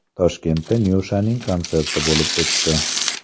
Toshkentda Nyushaning konserti bo‘lib o‘tdi.